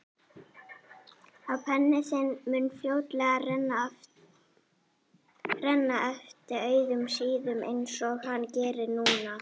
Að penni þinn mun fljótlega renna eftir auðum síðum einsog hann gerir núna.